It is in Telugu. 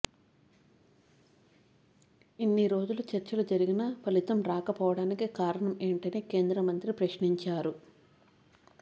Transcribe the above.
ఇన్ని రోజులు చర్చలు జరిగినా ఫలితం రాకపోవడానికి కారణం ఏంటని కేంద్ర మంత్రి ప్రశ్నించారు